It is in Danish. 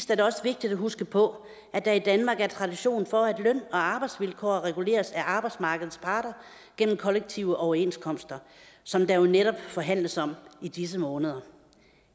det også vigtigt at huske på at der i danmark er tradition for at løn og arbejdsvilkår reguleres af arbejdsmarkedets parter gennem kollektive overenskomster som der netop forhandles om i disse måneder